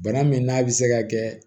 Bana min n'a bɛ se ka kɛ